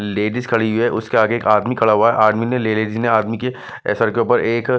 ladies खड़ी हुई हैं उसके आगे एक आदमी खड़ा हुआ है आदमी ने लेडिज लेडिज ने आदमी के सर के ऊपर एक--